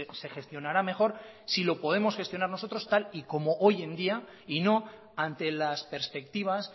se gestionará mejor si lo podemos gestionar nosotros tal y como hoy en día y no ante las perspectivas